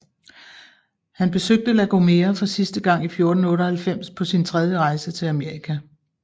Han besøgte La Gomera for sidste gang i 1498 på sin tredje rejse til Amerika